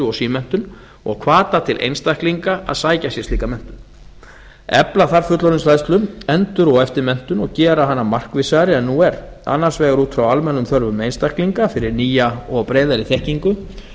og símenntun og hvata til einstaklinga að sækja sér slíka menntun efla þarf fullorðinsfræðslu endur og eftirmenntun og gera hana markvissari en nú er annars vegar út frá almennum þörfum einstaklinga fyrir nýja og breiðari þekkingu